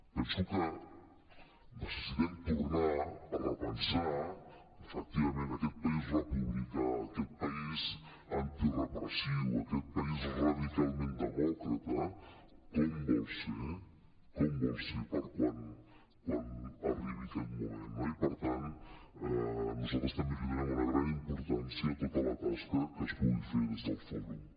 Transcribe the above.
penso que necessitem tornar a repensar efectivament aquest país republicà aquest país antirepressiu aquest país radicalment demòcrata com vol ser com vol ser per quan arribi aquest moment no i per tant nosaltres també li donem una gran importància a tota la tasca que es pugui fer des del fòrum